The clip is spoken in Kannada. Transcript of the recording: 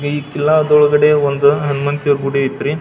ಈ ಕಿಲ್ಲಾದೊಳಗಡೆ ಒಂದು ಹನಮಂತ್ರೇಯ ಗುಡಿ ಆಯ್ತ್ರಿ.